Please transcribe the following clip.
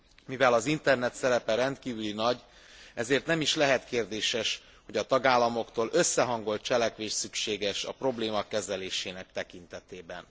Mivel az internet szerepe rendkívül nagy, ezért nem is lehet kérdéses, hogy a tagállamoktól összehangolt cselekvés szükséges a probléma kezelésének tekintetében.